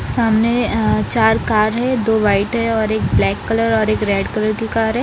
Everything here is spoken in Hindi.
सामने अ चार कार हैं दो वाइट हैं और एक ब्लैक कलर और एक रेड कलर की कार हैं ।